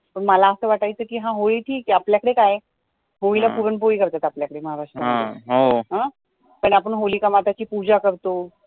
पण मला असं वाटायचं की हा होळी ठीक आहे आपल्या कडे काय आहे होळी ला पुरण पोळी करतो आपल्या कडे महाराष्ट्रात पण आपण ची पूजा करतो